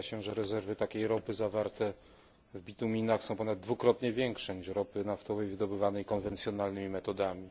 Ocenia się, że rezerwy takiej ropy, zawarte w bituminach, są ponad dwukrotnie większe niż ropy naftowej wydobywanej konwencjonalnymi metodami.